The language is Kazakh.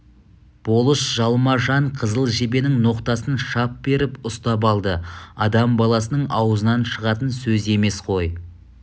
болыс жалма-жан қызыл жебенің ноқтасынан шап беріп ұстап алды адам баласының аузынан шығатын сөз емес қой